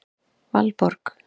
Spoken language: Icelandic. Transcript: Valborg